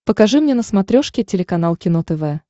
покажи мне на смотрешке телеканал кино тв